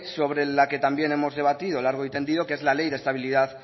sobre la que también hemos debatido largo y tendido que es la ley de estabilidad